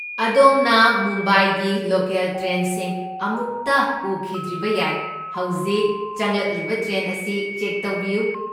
ꯑꯗꯣꯝꯅ ꯃꯨꯝꯕꯥꯏꯒꯤ ꯂꯣꯀꯦꯜ ꯇ꯭ꯔꯦꯟꯁꯤꯡ ꯑꯃꯨꯛꯇ ꯎꯈꯤꯗ꯭ꯔꯤꯕ ꯌꯥꯏ, ꯍꯧꯖꯤꯛ ꯆꯪꯂꯛꯂꯤꯕ ꯇ꯭ꯔꯦꯟ ꯑꯁꯤ ꯆꯦꯛ ꯇꯧꯕꯤꯌꯨ꯫